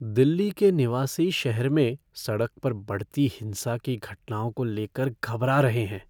दिल्ली के निवासी शहर में सड़क पर बढ़ती हिंसा की घटनाओं को लेकर घबरा रहे हैं।